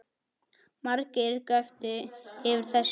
Margir göptu yfir þessu